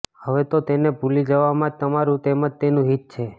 હવે તો તેને ભૂલી જવામાં જ તમારું તેમજ તેનું હિત છે